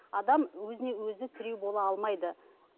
адам өзіне өзі тіреу бола алмайды